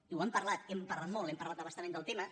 i ho hem parlat hem parlat molt hem parlat a bastament del tema